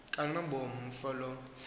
kanobomi umfo lo